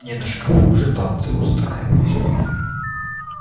не на шкафу же танцы устраивать